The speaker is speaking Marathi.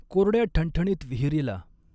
कोरड्या ठणठणीत विहिरीला।